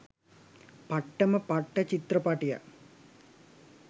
පට්ටම පට්ට චිත්‍රපටයක්.